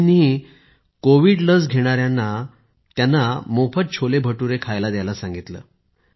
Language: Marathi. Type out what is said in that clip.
दोघींनीही त्यांना कोविड लस घेणाऱ्यांना मोफत छोलेभटूरे खायला द्यायला सांगितलं